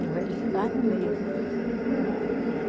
O velho ficava no meio ali.